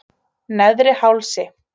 Neðri Hálsi